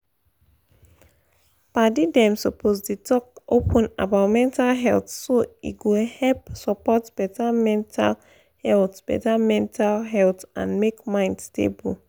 padi them suppose dey talk open about mental health so e go help support better mental health better mental health and make mind stable.